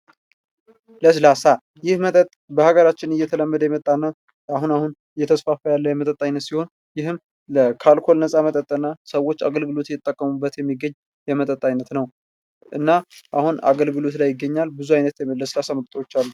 ለስላሳ ይህ መጠጥ በሀገራችን እየተለመደ የመጣ እና አሁን አሁን እየተስፋፋ የመጣና ሲሆን ይህም ከአልኮል ነፃ መጠጥና ሰዎች አገልግሎት እየተጠቀሙበት ያሉበት የሚገኝ የመጠጥ አይነት ነው ።እና አገልግሎት ላይ ይገኛል ።ብዙ አይነት የለስላሳ መጠጦች አሉ።